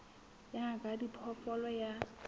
ya ngaka ya diphoofolo ya